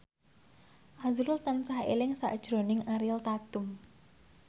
azrul tansah eling sakjroning Ariel Tatum